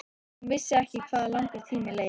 Hún vissi ekki hvað langur tími leið.